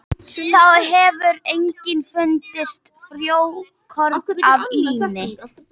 Þá hefur einnig fundist frjókorn af líni.